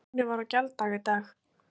Lánið var á gjalddaga í dag